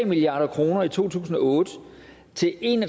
milliard kroner i to tusind og otte til en